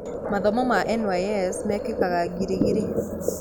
Mathomo ma NYS mekĩkaga Giligili